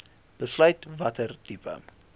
besluit watter tipe